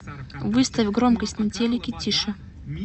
выставь громкость на телике тише